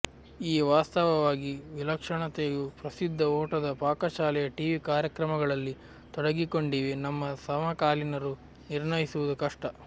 ಈ ವಾಸ್ತವವಾಗಿ ವಿಲಕ್ಷಣತೆಯು ಪ್ರಸಿದ್ಧ ಓಟದ ಪಾಕಶಾಲೆಯ ಟಿವಿ ಕಾರ್ಯಕ್ರಮಗಳಲ್ಲಿ ತೊಡಗಿಕೊಂಡಿವೆ ನಮ್ಮ ಸಮಕಾಲೀನರು ನಿರ್ಣಯಿಸುವುದು ಕಷ್ಟ